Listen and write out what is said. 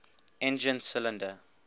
engine cylinder